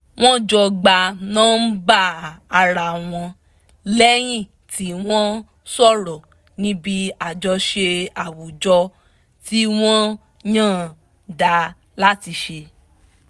wọ́n jọ gba nọ́mbà ara wọn lẹ́yìn tí wọ́n sọ̀rọ̀ níbi àjọṣe àwùjọ tí wọ́n yànda láti ṣe